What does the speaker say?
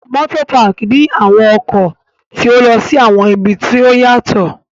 Motopaki ni awọn ọkọ ti o lọ si awọn ibi ti o yatọ